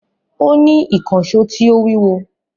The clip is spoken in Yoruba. Ó ní ìkànsó tí ó wíwo